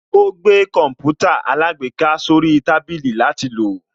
Ó gbé Kọǹpútà alágbèéká sórí tábìlì látil lò